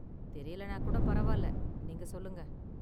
தெரியலைன்னா கூட பரவாயில்லை, நீங்க சொல்லுங்க.